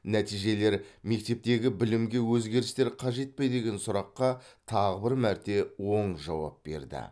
нәтижелер мектептегі білімге өзгерістер қажет пе деген сұраққа тағы бір мәрте оң жауап берді